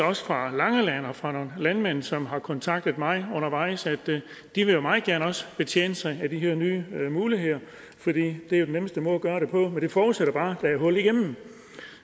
også fra langeland og fra nogle landmænd som har kontaktet mig undervejs at de vil meget gerne også betjene sig af de her nye muligheder for det er jo den nemmeste måde at gøre det på men det forudsætter bare at der er hul igennem